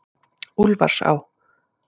Úlfarsá